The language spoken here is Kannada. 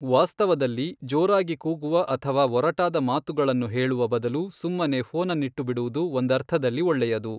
ವಾಸ್ತವದಲ್ಲಿ, ಜೋರಾಗಿ ಕೂಗುವ ಅಥವಾ ಒರಟಾದ ಮಾತುಗಳನ್ನು ಹೇಳುವ ಬದಲು ಸುಮ್ಮನೆ ಫೋನನ್ನಿಟ್ಟುಬಿಡುವುದು ಒಂದರ್ಥದಲ್ಲಿ ಒಳ್ಳೆಯದು.